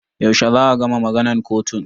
Yaushe za a gama maganan kotun?